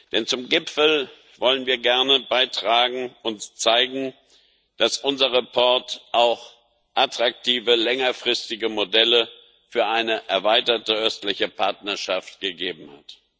Denn zum Gipfel wollen wir gerne beitragen und zeigen, dass unser Bericht auch attraktive längerfristige Modelle für eine erweiterte Östliche Partnerschaft gegeben hat.